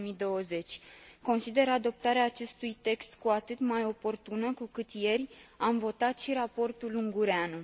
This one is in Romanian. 2020. Consider adoptarea acestui text cu atât mai oportună, cu cât ieri am votat și raportul Ungureanu.